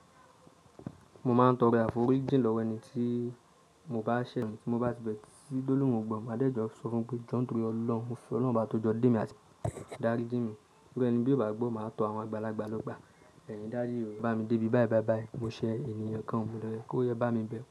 Mo máa ń tọrọ àforí ji lọ́wọ́ ẹni tí mo bá sẹ̀ mọ́ tí mo bá ti bẹrẹ. Tí Dólòrun ò gbọ́, màá dẹ̀jọ sọ fun pé "John Dure Ọlọ́run, mo sọ ọlọ́run bá tó jọ dé mi, àti dári dé mi." Nígbà ẹni bí ò bá gbọ́, màá tọ àwọn àgbàlagbà lọ́gbà. Bẹ́ẹ̀ ni, "Dáre o, bá mi dé ibi báyìí, báì báì." Mo ṣẹ ènìyàn kan, mo lọ rẹ, kó yẹ bá mi bẹ.